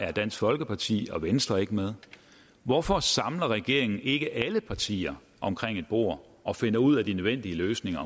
er dansk folkeparti og venstre ikke med hvorfor samler regeringen ikke alle partier omkring et bord og finder ud af de nødvendige løsninger